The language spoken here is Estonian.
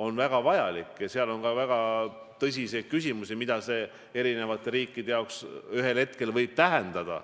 on väga vajalik ja seal on ka väga tõsiseid küsimusi, mida see kõik eri riikidele ühel hetkel võib tähendada.